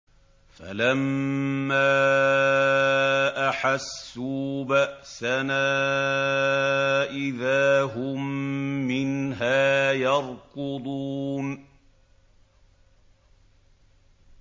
فَلَمَّا أَحَسُّوا بَأْسَنَا إِذَا هُم مِّنْهَا يَرْكُضُونَ